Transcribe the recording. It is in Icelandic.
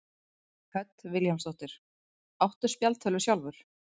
Hödd Vilhjálmsdóttir: Áttu spjaldtölvu sjálfur?